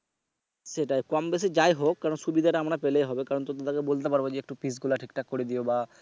সেটাই কম বেশি যাইহোক কারণ সুবিধা টা আমরা পেলেই হবে কারন তোমরা যেন বলতে পারো যে একটু piece গুলা ঠিকঠাক করে দিও বা।